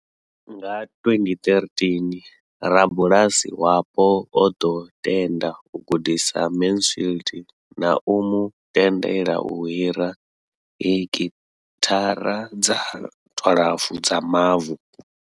Nga 2013, rabulasi wapo o ḓo tenda u gudisa Mansfield na u mu tendela u hira heki thara dza 12 dza mavu.